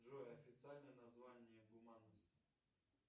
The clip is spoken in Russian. джой официальное название гуманность